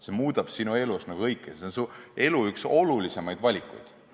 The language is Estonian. See otsustab sinu elus kõik, see on su elu olulisimaid valikuid.